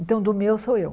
Então do meu sou eu.